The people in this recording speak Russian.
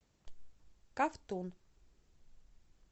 ковтун